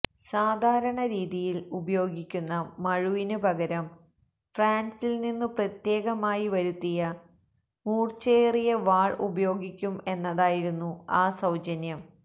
സാധാരണ രീതിയിൽ ഉപയോഗിക്കുന്ന മഴുവിന് പകരം ഫ്രാൻസിൽനിന്നു പ്രത്യേകമായി വരുത്തിയ മൂർച്ചയേറിയ വാൾ ഉപയോഗിക്കും എന്നതായിരുന്നു ആ സൌജന്യം